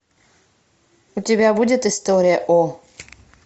у тебя будет история о